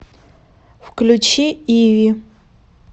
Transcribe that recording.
включи иви